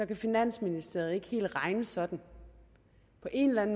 kan finansministeriet ikke helt regne sådan af en være en